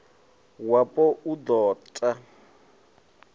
wapo u d o ta